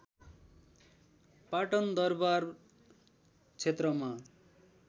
पाटन दरबार क्षेत्रमा